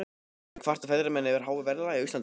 En kvarta ferðamenn yfir háu verðlagi á Íslandi?